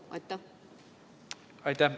Aitäh!